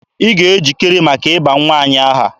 Ị ga-ejikere maka ịba nwa anyị aha!